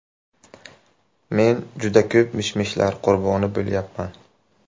Men juda ko‘p mish-mishlar qurboni bo‘lyapman.